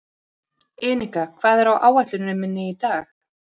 Enika, hvað er á áætluninni minni í dag?